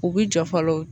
U bɛ jɔ fɔlɔ